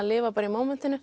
lifa í